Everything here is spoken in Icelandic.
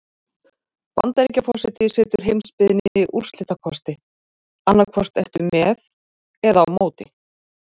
Bandaríkjaforseti setur heimsbyggðinni úrslitakosti: annað hvort ertu með eða á móti.